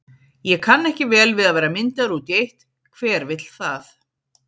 Ég kann ekki vel við að vera myndaður út í eitt, hver vill það?